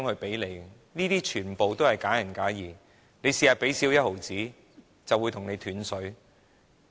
這些說法全部都是假仁假義，只要香港少付1毫子，便會斷水。